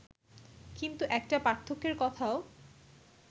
কিন্তু একটা পার্থক্যের কথাও